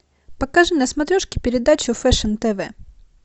покажи на смотрешке передачу фэшн тв